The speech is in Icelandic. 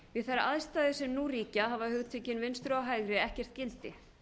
við þær aðstæður sem nú ríkja hafa hugtökin vinstri og hægri ekkert gildi